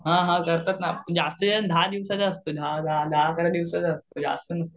हां हां करतात ना म्हणजे असं हे दहा दिवसाचं असतं, दहा दहा अकरा दिवसाचं असतं.